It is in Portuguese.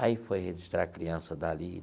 Aí foi registrar a criança dali.